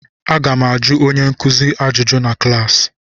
Aga m ajụ onye nkuzi m ajụjụ na klaasị.